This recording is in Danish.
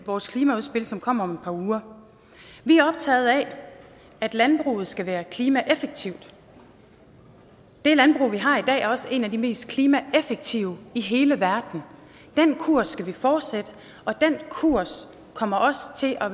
vores klimaudspil som kommer om et par uger vi er optaget af at landbruget skal være klimaeffektivt det landbrug vi har i dag er også et af de mest klimaeffektive i hele verden den kurs skal vi fortsætte og den kurs kommer også til at